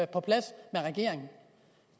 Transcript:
på plads med regeringen